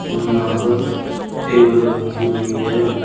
और यहां पर टेबल रखी हुई है।